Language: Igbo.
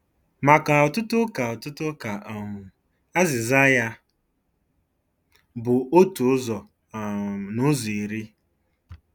Maka ọtụtụ Ụka ọtụtụ Ụka um, azịza ya bụ otu ụzọ um n'ụzọ iri.